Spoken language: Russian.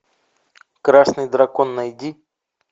красный дракон найди